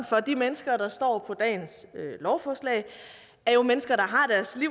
for de mennesker der står på dagens lovforslag er jo mennesker